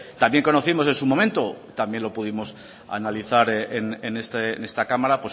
también conocimos en su momento también lo pudimos analizar en esta cámara